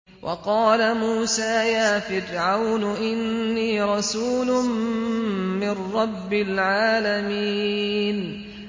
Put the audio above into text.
وَقَالَ مُوسَىٰ يَا فِرْعَوْنُ إِنِّي رَسُولٌ مِّن رَّبِّ الْعَالَمِينَ